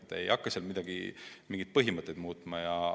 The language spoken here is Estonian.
Me ei hakka seal mingeid põhimõtteid muutma.